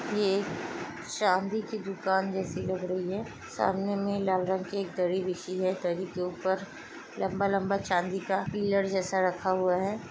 ये एक चांदी की दुकान जैसी लग रही है सामने मे लाल रंग की दरी बिछी है दरी के ऊपर लम्बा लम्बा चांदी का पिलर जैसा रखा हुआ है।